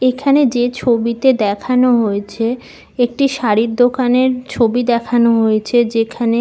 এখানে যে ছবিতে দেখানো হয়েছে একটি শাড়ির দোকানের ছবি দেখানো হয়েছে যেখানে--